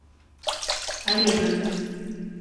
арена